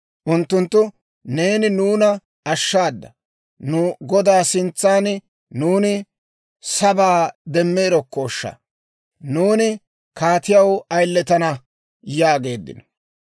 Unttunttu, «Neeni nuuna ashshaada! Nu godaa sintsan nuuni sabaa demeerokoshsha; nuuni kaatiyaw ayiletana» yaageeddino.